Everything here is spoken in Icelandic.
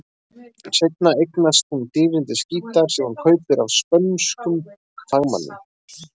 Seinna eignast hún dýrindis gítar, sem hún kaupir af spönskum fagmanni.